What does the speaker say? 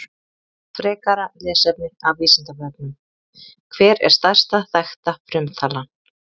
Frekara lesefni af Vísindavefnum: Hver er stærsta þekkta frumtalan?